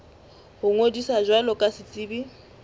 ho ngodisa jwalo ka setsebi